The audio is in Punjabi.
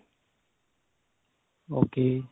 okay